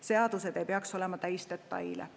Seadused ei peaks olema täis detaile.